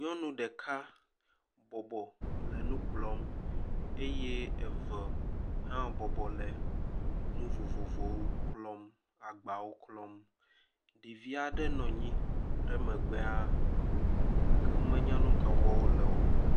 Nyɔnu ɖeka bɔbɔ le nu kplɔm eye eve hã bɔbɔ le nu vovovowo klɔm. Agbawo klɔm. Ɖevi aɖe nɔ anyi ɖe emegbea gake womenya nu ka wɔm wo le o.